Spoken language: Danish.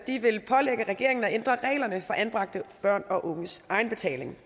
vil pålægge regeringen at ændre reglerne for anbragte børns og unges egenbetaling